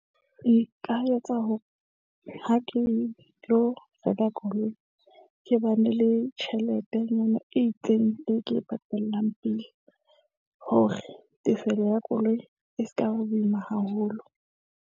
Nka etsa hore ha ke lo reka koloi, ke ba ne le tjheletenyana e itseng, e ke e patalang pele hore tefello ya koloi e sekaba boima haholo.